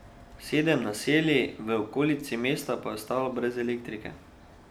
Sedem naselij v okolici mesta pa je ostalo brez elektrike.